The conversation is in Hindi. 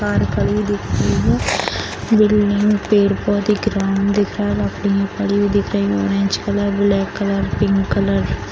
बालकनी दिख रही है बिल्डिंग पेड़-पौधे ग्राउंड दिख रहा लकड़ी पड़ी हुई दिख रही है orange colour black colour pink colour --